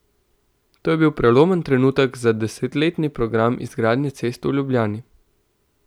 To je bil prelomen trenutek za desetletni program izgradnje cest v Ljubljani.